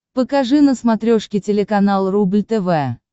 покажи на смотрешке телеканал рубль тв